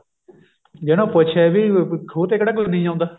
ਜੇ ਉਹਨੂੰ ਪੁੱਛੇ ਵੀ ਖੂਹ ਤੇ ਕਿਹੜਾ ਕੋਈ ਨਹੀਂ ਆਉਂਦਾ